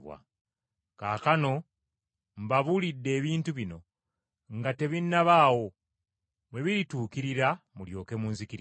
Kaakano mbabuulidde ebintu bino nga tebinnabaawo, bwe birituukirira mulyoke munzikirize.